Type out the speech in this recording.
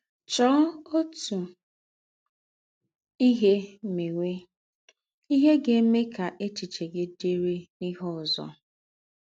Chọ̀ọ́ otu ihe meéwe — ihe ga-eme ka échiche gị dị̀rị́ n’íhe ózọ.